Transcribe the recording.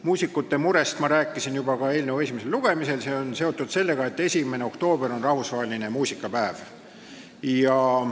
Muusikute murest rääkisin juba eelnõu esimesel lugemisel, see on seotud sellega, et 1. oktoober on rahvusvaheline muusikapäev.